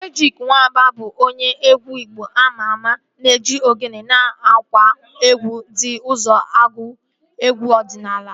Ejyk Wamba bụ onye egwu igbo ama ama na-eji ogene na ngwa egwu ndị ọzọ agụ egwu ọdịnala